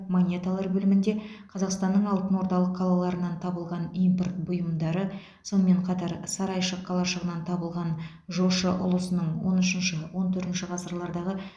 монеталар бөлімінде қазақстанның алтынордалық қалаларынан табылған импорт бұйымдары сонымен қатар сарайшық қалашығынан табылған жошы ұлысының он үшінші он төртінші ғасырлардағы